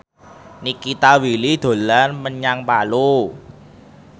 Nikita Willy dolan menyang Palu